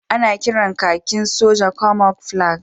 Ana kiran kakin sojan Camouflage